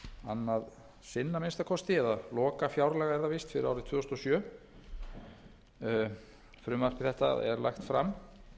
annað sinn að minnsta kosti eða lokafjárlög er það víst fyrir árið tvö þúsund og sjö frumvarp þetta er lagt fram